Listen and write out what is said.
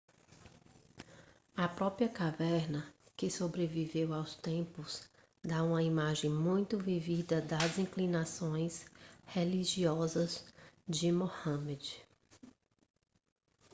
a própria caverna que sobreviveu aos tempos dá uma imagem muito vívida das inclinações religiosas de muhammad